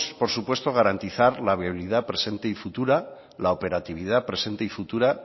por supuesto garantizar la viabilidad presente y futura la operatividad presente y futura